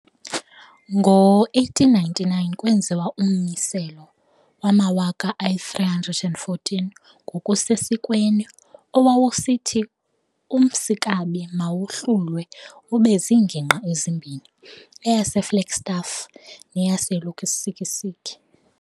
Ngo1899 kwenziwa ummiselo wama-314 ngokusesikweni owawusithi uMmsikaba mawahlulwe ube ziingingqi ezimbini, eyaseFlagstaff neyaseLusikisiki.